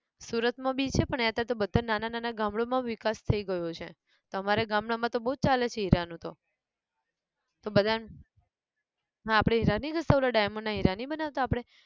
સુરત માં બી છે પણ અહીંયાં તો બધા નાના નાના ગામડાં ઓ માં વિકાસ થઇ ગયો છે અમારે ગામડાં માં તો બૌ જ ચાલે છે હીરા નું તો, તો બધાન, હા આપણે હીરા નઈ ઘસતાં ઓલા diamond ના હીરા નઈ બનાવતા આપડે!